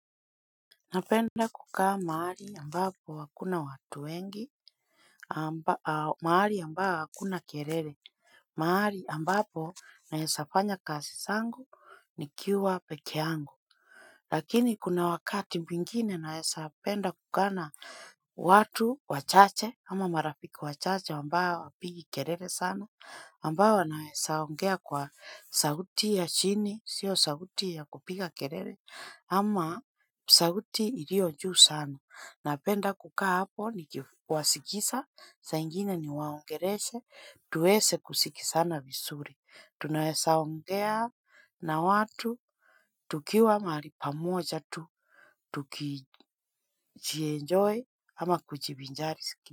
Napenda kukaa mahali ambapo hakuna watu wengi amba aa, mahali ambaa hakuna kelele, mahali ambapo naezafanya kasi zangu nikiwa pekee yangu. Lakini kuna wakati wingine naesa penda kukaa na watu, wachache, ama marafiki wachache ambao wapigi kerere sana, ambao wanaesa ongea kwa sauti ya chini, sio sauti ya kupiga kelele, ama sauti ilio juu sana. Napenda kukaa hapo ni kifuwasikisa, saa ingine niwaongereshe, tuwese kusikisana visuri. Tunawesa ongea na watu, tukiwa mahali pamoja tu, tukijienjoy ama kujibinjari siki.